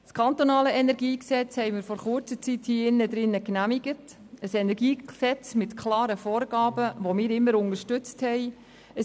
Das kantonale Energiegesetz vom 15. Mai 2011 (KEnG) haben wir vor kurzer Zeit hier drinnen im Saal genehmigt, ein Energiegesetz mit klaren Vorgaben, die wir immer unterstützt haben.